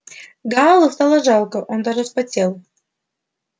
гаалу стало жарко он даже вспотел